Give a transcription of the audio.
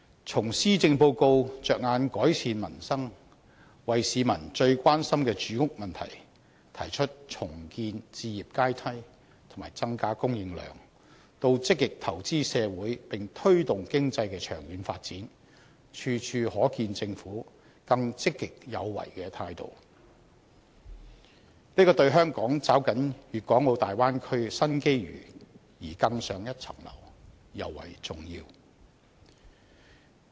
從施政報告着眼改善民生，為市民最關心的住屋問題提出重建置業階梯和增加房屋供應量，到積極投資社會，並推動經濟的長遠發展，處處可見政府更積極有為的態度，這對香港抓緊粵港澳大灣區的新機遇而更上一層樓尤為重要。